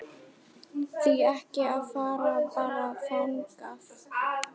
Því ekki að fara bara þangað?